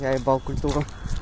я ебал культуру